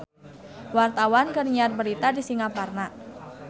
Wartawan keur nyiar berita di Singaparna